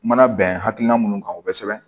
Mana bɛn hakilina mun kan o kosɛbɛ